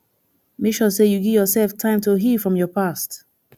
make sure say you give yourself time to heal from your past